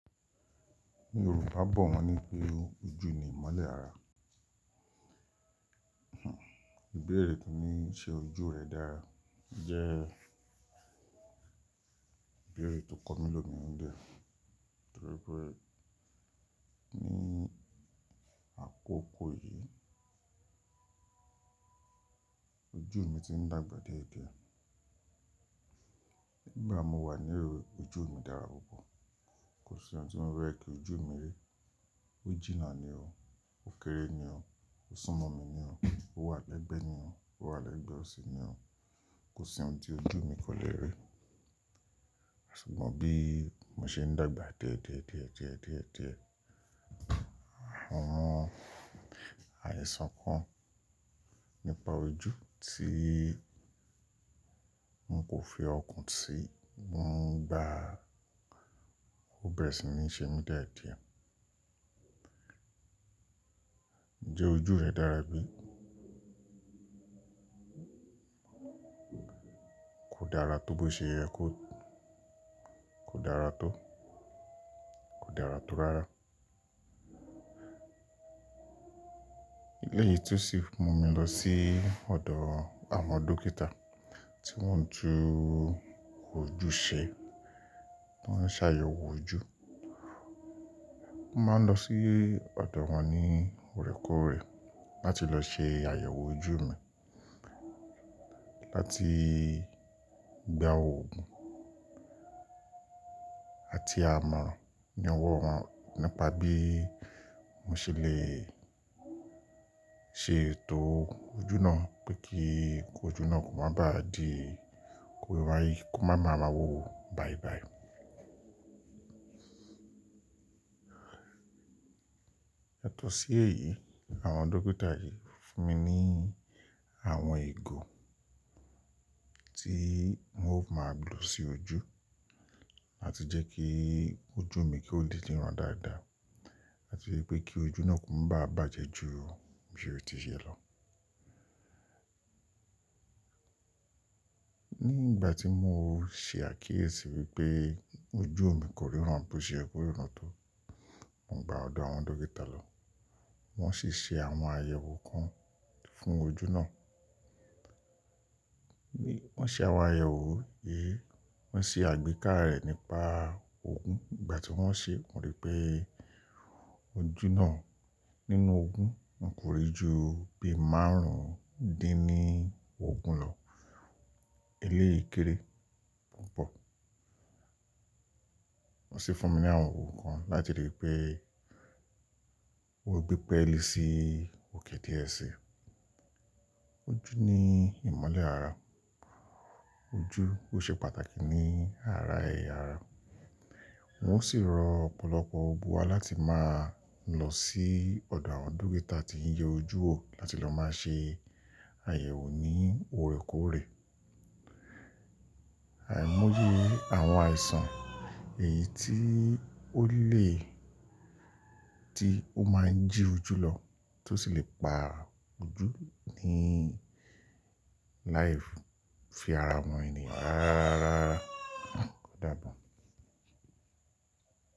Yòrubà bọ̀ wọ́n ní pé ojú ni ìmọ́lẹ̀ ara. Ìbéèrè tó ní ṣe ojú rẹ̀ dára jẹ́ ìbéèrè tó kọ́ mi lò mi nu ilẹ̀ torí pé ní àkókò yìí ojú mi ti ń dàgbà dié dié Nígbà mo wà ní òrun ojú mi dára púpọ̀. Kò sí ohun tí mo lè rí kí ojú mi rí. Ó jìnnà ni o. Ó kéré ni o. Ó súnmọ́ mi ni o. Ó wà lẹ́gbẹ̀ẹ́ ni o. Ó wà lẹ́gbẹ̀ẹ́ ọ̀sì ni o. Kò sí ohun tí ojú mi kò lè rí. Àsìkò bí mo ṣe ń dàgbà diédiédiédiédié àwọn àìsàn kan nípa ojú tí n kò fi ọkàn sí, mò ń gba ó bẹ̀rẹ̀ sí ní ṣe mí díẹ̀díẹ̀. Ǹjẹ́ ojú rẹ dára bí? Kò dára tó bó ṣe yẹ kó. Kò dára tó. Kò dára tó rárá. Eléyìí tún ṣi fún mi lọ sí ọ̀dọ̀ àwọn dókítà tí wọ́n ń tu ojú ṣe, tí wọ́n ń ṣe àyẹ̀wò ojú. Mo máa ń lọ sí ọ̀dọ̀ wọn ní òrèkóòrè láti lọ ṣe àyẹ̀wò ojú mi láti gba òògùn àti àmọ̀ran ní ọwọ́ wọn nípa bí mo ṣe lè ṣe ètò ojú náà pé kí ojú náà kó má bá di, kó máa ma ba wó bàìbàì. Yatọ̀ọ́ sí èyí, àwọn dókítà yìí fún mi ní àwọn ìgò tí n ò máa gbò si ojú láti jẹ́ kí ojú mi kí ó lè ríran dáadáa àti pé kí ojú náà kó má bá bàjẹ́ ju bí ó ti ṣe lọ. Nígbà tí mo ṣe àkíyèsí wípé ojú mi kò lè ríran bó ṣe yẹ kó ríran tó, mò ń gba ọ̀dọ̀ àwọn dókítà lọ. Wọn sì ṣe àwọn àyẹ̀wò kan fún ojú náà. Bí wọ́n ṣe àwọn àyẹ̀wò yìí, wọ́n ṣe àgbékà rẹ̀ nípa òògùn. Ìgbà tí wọ́n ṣe, wọ́n rí pé ojú náà nínú òògùn kò rí ju bí márùn-ún dín ní òògùn lọ. Eléyìí kéré púpọ̀. Wọ́n sì fún mi ní àwọn òògùn kan láti lè rí pé ó gbépẹ̀li sí òkè díẹ̀ sí i. Ojú ní ìmọ́lẹ̀ ara. Ojú ló ṣe pàtàkì ní ara ẹ̀yà ara. Wọ́n sì rọ̀ ọ̀pọ̀lọpọ̀ òògùn wá láti máa lọ sí ọ̀dọ̀ àwọn dókítà tí ń yẹ ojú wò láti lọ máa ṣe àyẹ̀wò ní òrèkóòrè. Àìmọye àwọn àìsàn èyí tí ó lè, tí ó máa ń jì ojù lọ tó sì lè pa ojú ní láì fi ara mọ́ ènìyàn rárárárá o dabo o.